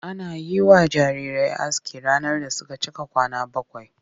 Ana yi wa jarirai aski ranar da suka cika kwana bakwai.